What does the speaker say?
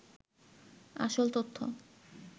আসল তথ্য